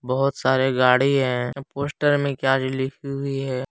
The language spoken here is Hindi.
बहुत सारे गाड़ी है पोस्टर में लिखी हुई है।